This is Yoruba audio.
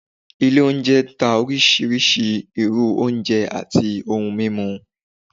ilé oúnjẹ ta oriṣiriṣi irú oúnjẹ atí ohún mimú